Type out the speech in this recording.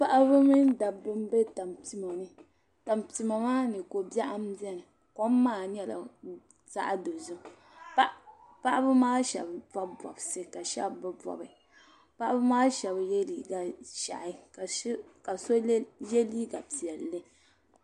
Paɣaba mini dabba n bɛ tampima ni tampima maa ni ko biɛɣu n biɛni kom maa nyɛla zaɣ dozim paɣaba maa shab bob bobsi ka shab bi bobi paɣaba maa shab yɛ liiga ʒiɛhi ka so yɛ liiga piɛlli